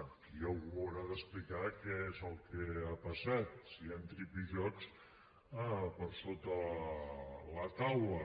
aquí algú haurà d’explicar què és el que ha passat si hi han tripijocs per sota de la taula